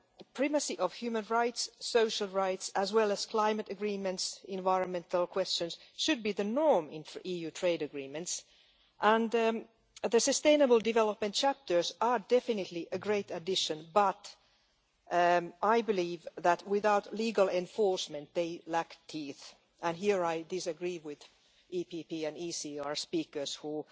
Primacy of human rights, social rights, as well as climate agreements, environmental questions, should be the norm in EU trade agreements, and the sustainable development chapters are definitely a great addition, but I believe that without legal enforcement, they lack teeth and here I disagree with EPP and ECR speakers who